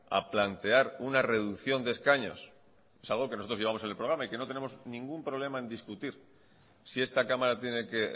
a plantear una reducción de escaños es algo que nosotros llevamos en el programa y que no tenemos ningún problema en discutir si esta cámara tiene que